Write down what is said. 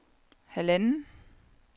halvanden